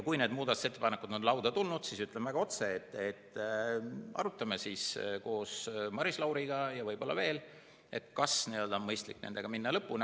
Kui need muudatusettepanekud on lauda tulnud, siis, ütlen otse, arutame koos Maris Lauriga ja võib-olla veel, kas on mõistlik minna nendega lõpuni.